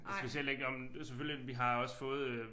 Og specielt ikke når men selvfølgelig vi har også fået øh